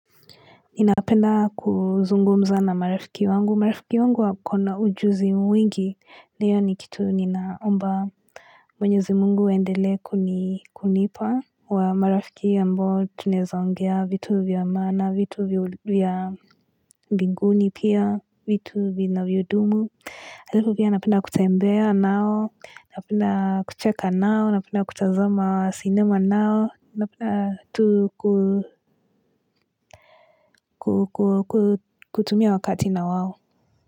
Ninapenda kuzungumza na marafiki wangu. Marafiki wangu wako na ujuzi mwingi. Ndiyo ni kitu ninaomba. Mwenyezi mungu aendele ku ni kunipa wa marafiki ambao tunaeza ongea vitu vya maana, vitu vya mbinguni pia, vitu vinavyo dumu. Hivyo pia napenda kutembea nao, napenda kucheka nao, napenda kutazamaa cinema nao, napenda kutumia wakati na wao.